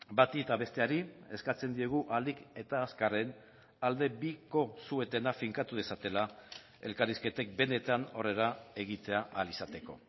bati eta besteari eskatzen diegu ahalik eta azkarren aldebiko suetena finkatu dezatela elkarrizketek benetan aurrera egitea ahal izateko